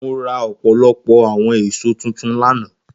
Mo ra ọpọlọpọ awọn eso tuntun lana.